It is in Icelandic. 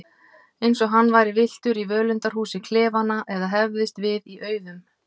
Eins og hann væri villtur í völundarhúsi klefanna eða hefðist við í auðum.